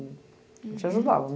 A gente ajudava.